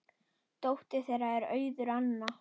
Dóttir þeirra er Auður Anna.